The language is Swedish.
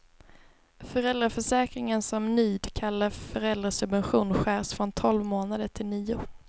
Föräldraförsäkringen som nyd kallar föräldrasubvention skärs från tolv månader till nio.